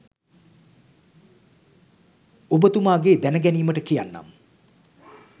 ඔබතුමාගේ දැන ගැනීමට කියන්නම්.